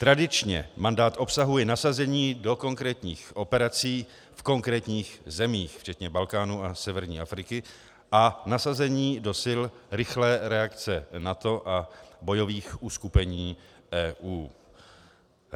Tradičně mandát obsahuje nasazení do konkrétních operací v konkrétních zemích, včetně Balkánu a severní Afriky, a nasazení do Sil rychlé reakce NATO a bojových uskupení EU.